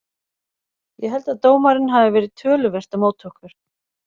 Ég held að dómarinn hafi verið töluvert á móti okkur.